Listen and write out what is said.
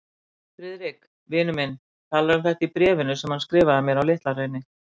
Friðrik, vinur minn, talar um þetta í bréfinu sem hann skrifaði mér á Litla-Hraun.